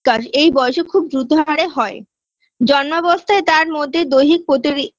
কারজ এই বয়সে খুব দ্রুত হারে হয় জন্মাবস্থায় তার মধ্যে দৈহিক প্রতি রি